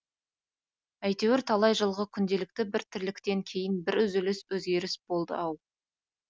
әйтеуір талай жылғы күнделікті бір тірліктен кейін бір үзіліс өзгеріс болды ау